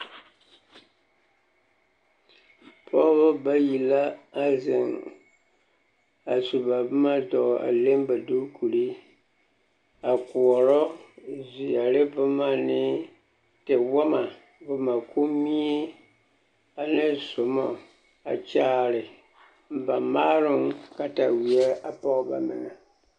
Pɔgebɔ bayi la a zeŋ a su ba boma zɔɔ a leŋ ba duukuri a koɔrɔ zeɛre boma ne tewama, kommie ane zoma a kyaare ba maaroŋ kataweɛ a pɔge ba meŋɛ.